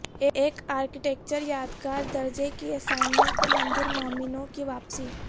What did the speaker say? ایک ارکیٹیکچرل یادگار درجہ کی اسائنمنٹ اور مندر مومنوں کی واپسی